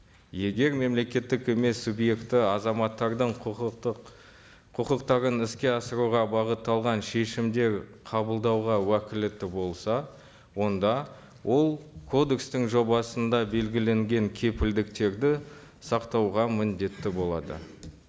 егер мемлекеттік емес субъекті азаматтардың құқықтық құқықтарын іске асыруға бағытталған шешімдер қабылдауға уәкілетті болса онда ол кодекстің жобасында белгіленген кепілдіктерді сақтауға міндетті болады